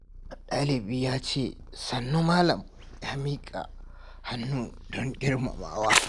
Dalibi ya ce "Sannu malam" yana miƙa hannu don girmamawa.